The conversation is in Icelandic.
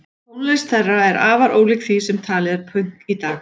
Tónlist þeirra er afar ólík því sem talið er pönk í dag.